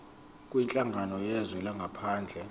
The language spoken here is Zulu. kwinhlangano yezwe langaphandle